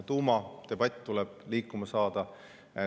Tuumadebatt tuleb liikuma saada.